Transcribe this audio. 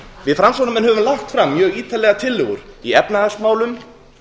við framsóknarmenn höfum lagt fram mjög ítarlega tillögur í efnahagsmálum